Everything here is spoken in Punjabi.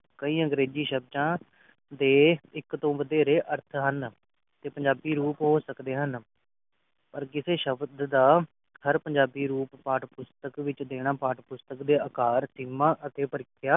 ਕਈ ਅੰਗਰੇਜਿ ਸ਼ਬਦਾਂ ਦੇ ਇਕ ਤੋਂ ਵਧੇਰੇ ਅਰਥ ਹਨ ਤੇ ਪੰਜਾਬੀ ਰੂਪ ਹੋ ਸਕਦੇ ਹਨ ਪਰ ਕਿਸੇ ਸ਼ਬਦ ਦਾ ਹਰ ਪੰਜਾਬੀ ਰੂਪ ਪਾਠ ਪੁਸਤਕ ਵਿਚ ਦੇਣਾ ਪਾਠ ਪੁਸਤਕ ਦੇ ਆਕਾਰ ਅਧੀਨਾ ਤੇ ਪ੍ਰਕਿਰਿਆ